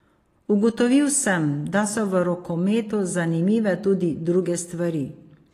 Ugotovil sem, da so v rokometu zanimive tudi druge stvari.